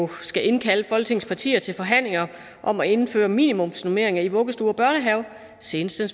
skal indkalde folketingets partier til forhandlinger om at indføre minimumsnormeringer i vuggestuer og børnehaver seneste